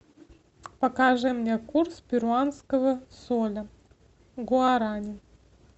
покажи мне курс перуанского соля к гуарани